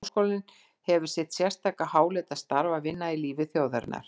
Háskólinn hefir sitt sérstaka háleita starf að vinna í lífi þjóðarinnar.